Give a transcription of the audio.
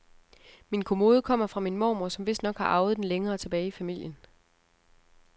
Min kommode kommer fra min mormor, som vistnok har arvet den længere tilbage i familien.